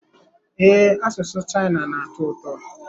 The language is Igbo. Ee, asụsụ China na-atọ ụtọ.